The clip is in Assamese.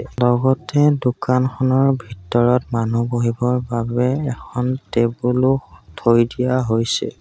লগতে দোকানখনৰ ভিতৰত মানুহ বহিবৰ বাবে এখন টেবুল ও থৈ দিয়া হৈছে।